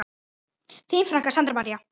Þín frænka, Sandra María.